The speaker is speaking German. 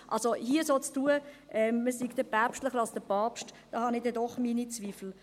Also hier so zu tun, als wäre man päpstlicher als der Papst, daran habe ich dann doch meine Zweifel.